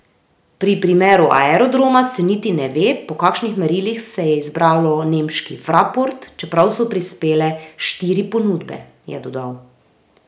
Pri primeru Aerodroma se niti ne ve, po kakšnih merilih se je izbralo nemški Fraport, čeprav so prispele štiri ponudbe, je dodal.